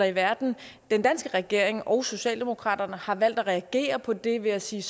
i verden den danske regering og socialdemokraterne har valgt at reagere på det ved at sige